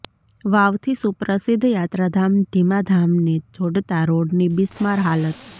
વાવથી સુપ્રસિદ્ધ યાત્રાધામ ઢીમા ધામને જોડતા રોડની બિસ્માર હાલત